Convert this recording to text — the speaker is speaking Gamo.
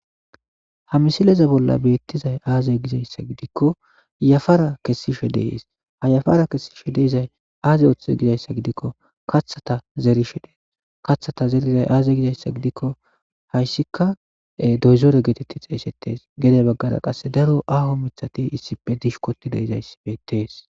ha misileza bolla beettizay aaze gizayssa gidikko yafara kessishe de7es ha yafara kessishe de7izay aaze oththe gizayssa gidikko kathata zerishe dees kathata zerizay aaze gizayssa gidikko hayssika doyzore geetetti ha xeesettes gede baggara qasse daro aaho mithati issippe dishkoti de7izayssi beettees.